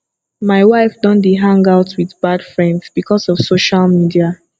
my wife don dey hang out with bad friends because of social media